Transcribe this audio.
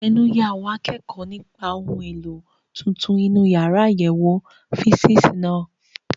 Ẹnu ya àwọn akẹ́kọ̀ọ́ nípa àwọn ohun èlò tuntun inú yàrá àyẹ̀wò físììsì náà.